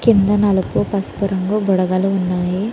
కింద నలుపు పసుపు రంగు బుడగలు వున్నాయి.